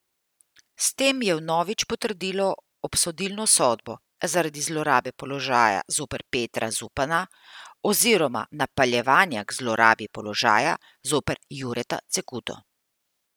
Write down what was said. S tem je vnovič potrdilo obsodilno sodbo zaradi zlorabe položaja zoper Petra Zupana oziroma napeljevanja k zlorabi položaja zoper Jureta Cekuto.